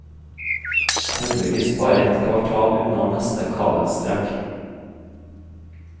Heldigvis bare et kvartal unna neste kabelstrekk.